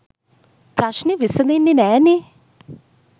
ප්‍රශ්නෙ විසදෙන්නෙ නෑනෙ.